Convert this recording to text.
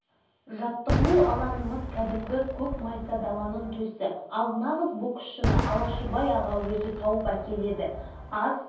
ол жағын пайымдауға шамамыз қайсы әйтеуір өңкей қарадомалақтар оның жанынан үйіріліп шықпайтынбыз спортзал ринг деген ол